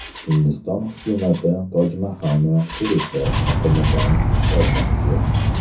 Hindiston hukumati Tojmahalni turistlar oqimidan qutqarmoqchi.